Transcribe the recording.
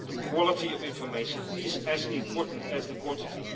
The quality of information is as important as the quantity.